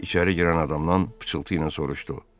İçəri girən adamdan pıçıltı ilə soruşdu: